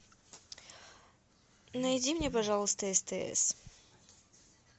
найди мне пожалуйста стс